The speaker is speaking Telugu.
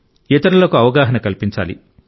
ఇతరులకు అవగాహన కల్పించాలి